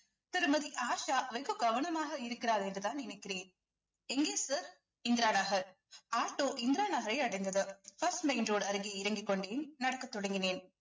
திருமதி ஆஷா வெகு கவனமாக இருக்கிறார் என்றுதான் நினைக்கிறேன் எங்கே sir இந்திரா நகர் ஆட்டோ இந்திரா நகரை அடைந்தது first main road அருகே இறங்கிக் கொண்டேன் நடக்கத் தொடங்கினேன்